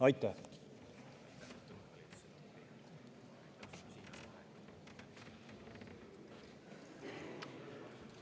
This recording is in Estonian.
Aitäh!